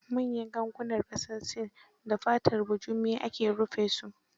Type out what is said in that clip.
Manyan gangunan ƙasar Sin, da fatar bujumi ake rufa sum